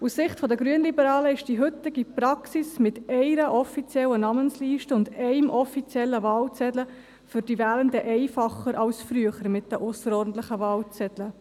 Aus Sicht der Grünliberalen ist die heutige Praxis mit einer offiziellen Namensliste und einem offiziellen Wahlzettel einfacher als die frühere mit den ausserordentlichen Wahlzetteln.